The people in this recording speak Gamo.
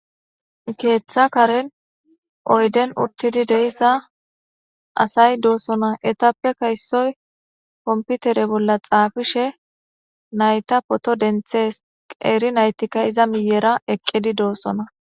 Keeththa karen oyden uttidi deyssa asay doosona etappe kaysoy komputere bolla xaafishe nayta poto denthes eri naytikka iza miyera eqqidi doossona.